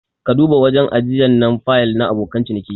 Ka duba wajen ajiyan na fayil na abokan ciniki.